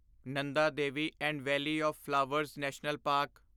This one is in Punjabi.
Nanda Devi and valley of flowers national parks